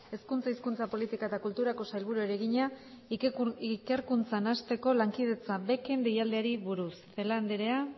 hezkuntza hizkuntza politika eta kulturako sailburuari egina ikerkuntzan hasteko lankidetza beken deialdiari buruz celaá andrea